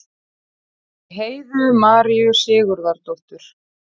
eftir heiðu maríu sigurðardóttur